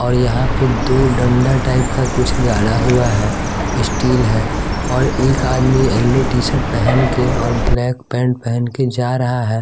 और यहां पे दो डंडा टाइप का कुछ गाड़ा हुआ है स्टील है और एक आदमी येलो टी शर्ट पहन के और ब्लैक पैंट पहन के जा रहा है।